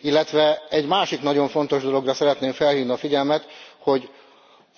Illetve egy másik nagyon fontos dologra szeretném felhívni a figyelmet